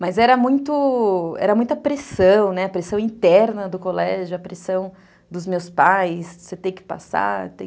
Mas era muita pressão, a pressão, né, interna do colégio, a pressão dos meus pais, você tem que passar.